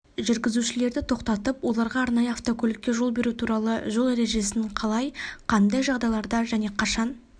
жүргізушілерді тоқтатып оларға арнайы автокөлікке жол беру туралы жол ережесін қалай қандай жағдайларда және қашан